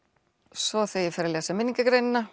svo þegar ég fer að lesa